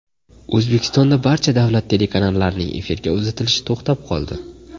O‘zbekistonda barcha davlat telekanallarining efirga uzatilishi to‘xtab qoldi.